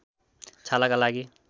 छालाका लागि